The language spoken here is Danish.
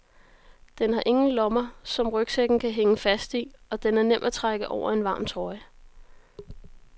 Den har ingen lommer som rygsækken kan hænge fast i, og den er nem at trække over en varm trøje.